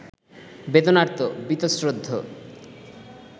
বেদনার্ত, বীতশ্রদ্ধ